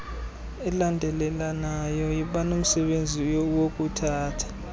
elandelelanayo banomsebenzi wokuthatha